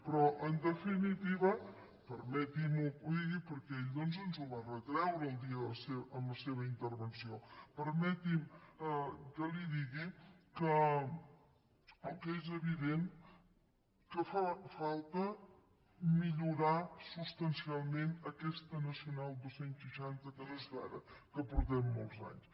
però en definitiva permeti’m que li digui perquè ell ens ho va retreure el dia de la seva intervenció que el que és evident és que fa falta millorar substancialment aquesta nacional dos cents i seixanta que no és d’ara que portem molts anys